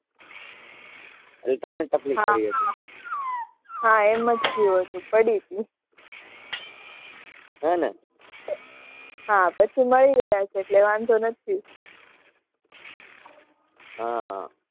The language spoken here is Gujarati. તમને તકલીફ પડી હશે.